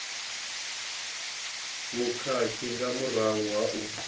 vhukhakhi nga murahu ha u